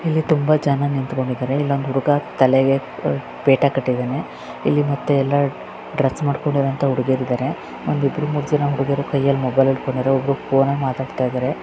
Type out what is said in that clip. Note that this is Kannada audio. ಇಲ್ಲಿ ತುಂಬಾ ಜನ ನಿಂತ್ಕೊಂಡಿದ್ದಾರೆ ಇಲ್ಲೊಂದ್ ಹುಡುಗ ತಲೆಗೇ ಪೇಟಾ ಕಟ್ಟಿದಾನೆ. ಇಲ್ಲಿ ಮತ್ತೆ ಯಲ್ಲಾ ಡ್ರೆಸ್ ಮಾಡ್ಕೊಂಡಿರುವಂತ ಹುಡುಗಿಯರ ಇದಾರೆ. ಒಂದ್ ಇಬ್ಬರು ಮೂರ್ ಜನ ಹುಡುಗುರ್ ಕೈಯೆಲ್ಲ ಮೊಬೈಲ್ ಹಿಡ್ಕೊಂಡಿರವ್ ಒಬ್ಬರು ಫೋನ್ ಅಲ ಮಾತಾಡ್ತಿದ್ದಾರೆ.